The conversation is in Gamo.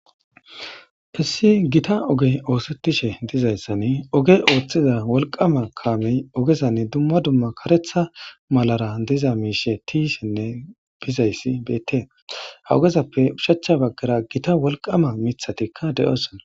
Issi gita ogey oosetishe dizayssan oge ooththiza wolqama kaamey ogezan dumma dumma kaeththa malara diza miishshe tiyishenne bizayssi beettes. Ha ogezappe oshachcha baggara gita wolqama miththatikka de'osona.